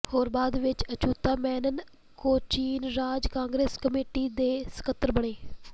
ਹੋਰ ਬਾਅਦ ਵਿੱਚ ਅਛੂਤਾ ਮੈਨਨ ਕੋਚੀਨ ਰਾਜ ਕਾਂਗਰਸ ਕਮੇਟੀ ਦੇ ਸਕੱਤਰ ਬਣੇ